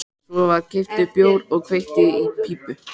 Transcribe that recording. Svo var keyptur bjór og kveikt í pípu.